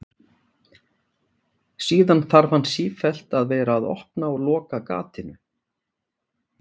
Síðan þarf hann sífellt að vera að opna og loka gatinu.